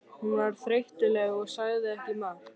Hún var þreytuleg og sagði ekki margt.